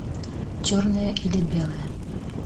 черное или белое